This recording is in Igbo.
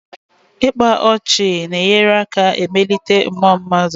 Ịkpa ọchị na-enyere aka emelite mmuọ mmadụ.